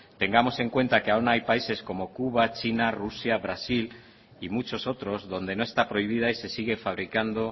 tengamos en cuenta que aún hay países comocuba china rusia brasil y muchos otros donde no está prohibida y se sigue fabricando